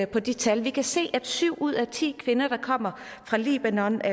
på de tal vi kan se at syv ud af ti kvinder der kommer fra libanon